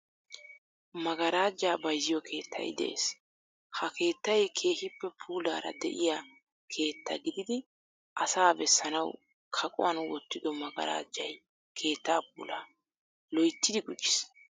Maggarajjaa bayzziyo keettay de'ees. Ha keettay keehippe puulaara de'iya keettaa gididi asaa bessanawu kaquwan wottido maggarajjay keettaa puulaa loyyyidi gujjiis.